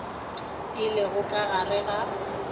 di lego ka gare ga